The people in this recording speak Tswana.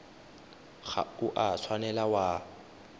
ga o a tshwanela wa